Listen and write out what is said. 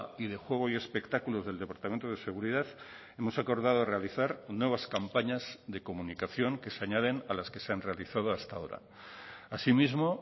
y de juego y espectáculos del departamento de seguridad hemos acordado realizar nuevas campañas de comunicación que se añaden a las que se han realizado hasta ahora asimismo